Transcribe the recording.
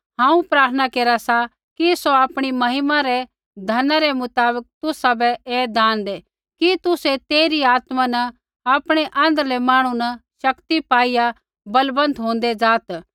हांऊँ प्रार्थना केरा सा कि सौ आपणी महिमा रै धना रै मुताबक तुसाबै ऐ दान दै कि तुसै तेइरी आत्मा न आपणै आँध्रलै मांहणु न शक्ति पाईआ बलवन्त होंदै ज़ात